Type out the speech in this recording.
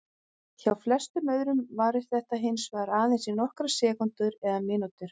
Hjá flestum öðrum varir þetta hins vegar aðeins í nokkrar sekúndur eða mínútur.